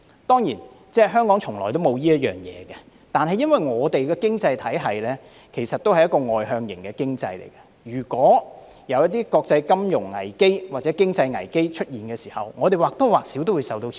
當然，香港從來沒有這回事，但我們的經濟體系畢竟是外向型經濟，當一些國際金融危機或經濟危機出現時，我們或多或少也會受到牽連。